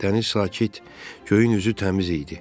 Dəniz sakit, göyün üzü təmiz idi.